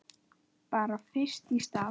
Bara fyrst í stað.